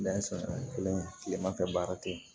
kelen kileman fɛ baara te yen